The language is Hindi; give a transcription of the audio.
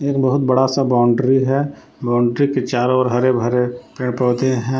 एक बहुत बड़ा सा बाउंड्री है बाउंड्री के चारों ओर हरे भरे पेड़ पौधे हैं।